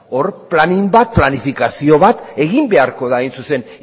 hor planifikazio bat egin beharko da hain zuzen